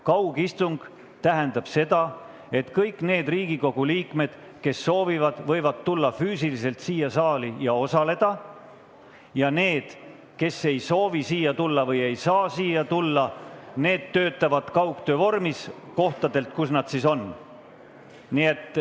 Kaugistung tähendab seda, et kõik need Riigikogu liikmed, kes soovivad, võivad tulla füüsiliselt siia saali ja osaleda istungil siin, ning need, kes ei soovi või ei saa siia tulla, töötavad kaugtöö vormis seal, kus nad parajasti on.